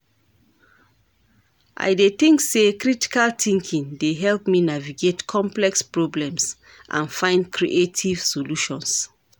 I dey think say critical thinking dey help me navigate complex problems and find creative solutions.